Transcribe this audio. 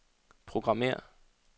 programmér